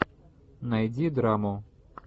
найди драму